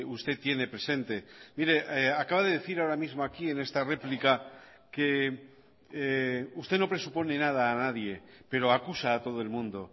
usted tiene presente mire acaba de decir ahora mismo aquí en esta réplica que usted no presupone nada a nadie pero acusa a todo el mundo